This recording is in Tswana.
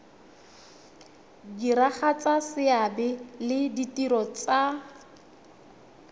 diragatsa seabe le ditiro tsa